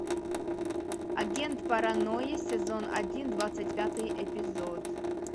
агент паранойя сезон один двадцать пятый эпизод